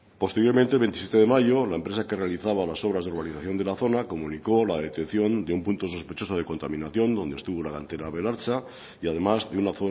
posteriormente el veintisiete de mayo la empresa que realizaba las obras de urbanización de la zona comunicó la detección de un punto sospechoso de contaminación donde estuvo la cantera belartza y además de una